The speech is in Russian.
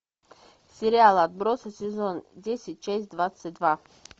сериал отбросы сезон десять часть двадцать два